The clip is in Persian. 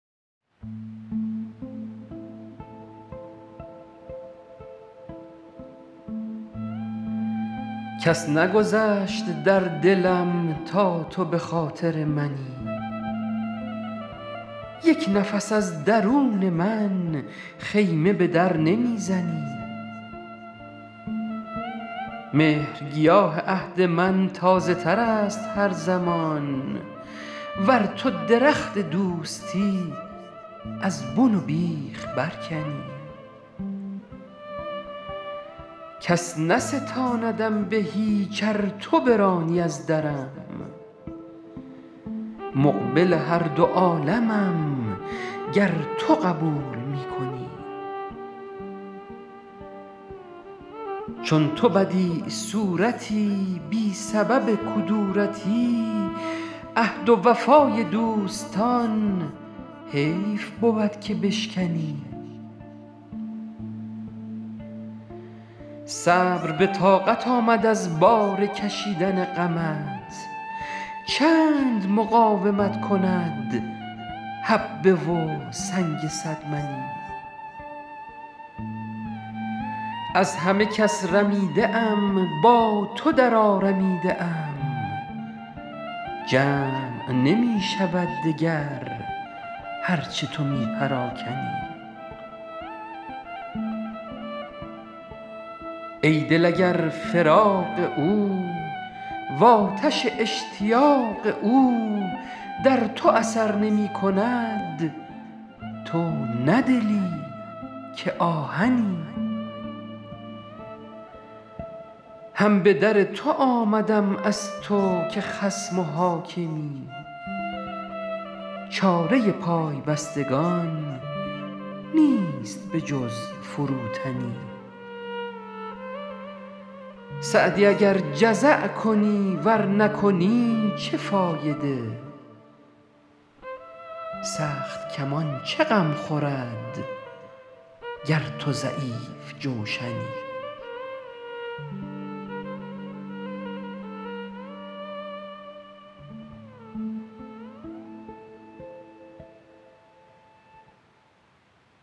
کس نگذشت در دلم تا تو به خاطر منی یک نفس از درون من خیمه به در نمی زنی مهرگیاه عهد من تازه تر است هر زمان ور تو درخت دوستی از بن و بیخ برکنی کس نستاندم به هیچ ار تو برانی از درم مقبل هر دو عالمم گر تو قبول می کنی چون تو بدیع صورتی بی سبب کدورتی عهد وفای دوستان حیف بود که بشکنی صبر به طاقت آمد از بار کشیدن غمت چند مقاومت کند حبه و سنگ صد منی از همه کس رمیده ام با تو درآرمیده ام جمع نمی شود دگر هر چه تو می پراکنی ای دل اگر فراق او وآتش اشتیاق او در تو اثر نمی کند تو نه دلی که آهنی هم به در تو آمدم از تو که خصم و حاکمی چاره پای بستگان نیست به جز فروتنی سعدی اگر جزع کنی ور نکنی چه فایده سخت کمان چه غم خورد گر تو ضعیف جوشنی